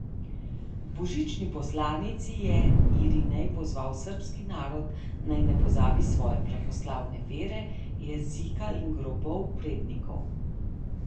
V božični poslanici je Irinej pozval srbski narod, naj ne pozabi svoje pravoslavne vere, jezika in grobov prednikov.